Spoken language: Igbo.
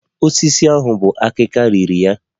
Osisi ahụ bu akika riri ya